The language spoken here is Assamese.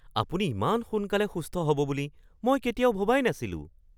আৰে! আপুনি ইমান সোনকালে সুস্থ হ'ব বুলি মই কেতিয়াও ভবাই নাছিলোঁ।